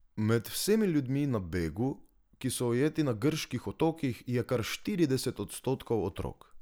Med vsemi ljudmi na begu, ki so ujeti na grških otokih, je kar štirideset odstotkov otrok.